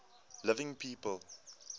living people